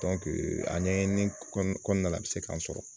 A ɲɛɲini kɔnɔ kɔnɔna la a bɛ se k'a sɔrɔ.